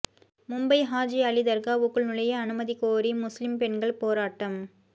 மும்பை ஹாஜி அலி தர்காவுக்குள் நுழைய அனுமதி கோரி முஸ்லீம் பெண்கள் போராட்டம்